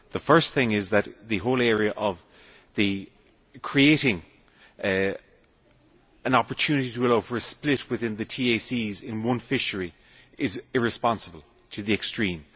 The first thing is that the whole concept of creating an opportunity to allow for a split within the TACs in one fishery is irresponsible to the extreme.